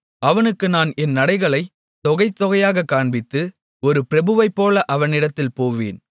அவனுக்கு நான் என் நடைகளைத் தொகை தொகையாகக் காண்பித்து ஒரு பிரபுவைப்போல அவனிடத்தில் போவேன்